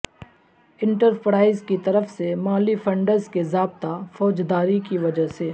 enterprise کی طرف سے مالی فنڈز کے ضابطہ فوجداری کی وجہ سے